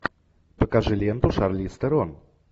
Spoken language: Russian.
покажи ленту шарлиз терон